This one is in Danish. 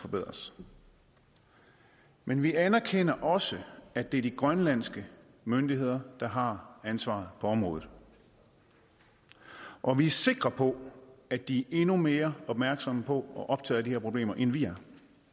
forbedres men vi anerkender også at det er de grønlandske myndigheder der har ansvaret på området og vi er sikre på at de er endnu mere opmærksomme på og optaget af de her problemer end vi er